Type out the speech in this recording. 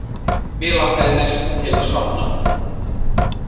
Mig langaði mest til að sofna.